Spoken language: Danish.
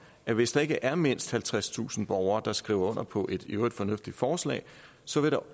der hvis der ikke er mindst halvtredstusind borgere der skriver under på et i øvrigt fornuftigt forslag så vil